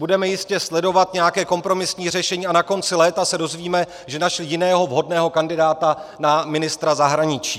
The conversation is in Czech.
Budeme jistě sledovat nějaké kompromisní řešení a na konci léta se dozvíme, že našli jiného vhodného kandidáta na ministra zahraničí.